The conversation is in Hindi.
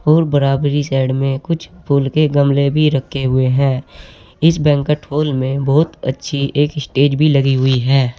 और बराबरी साइड में कुछ फूल के गमले भी रखे हुए हैं इस बैंकट हॉल में बहुत अच्छी एक स्टेज भी लगी हुई हैं।